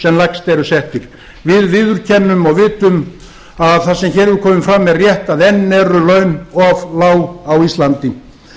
sem lægst eru settir við viðurkennum og vitum að það sem hér hefur komið fram er rétt að enn eru laun of lág á íslandi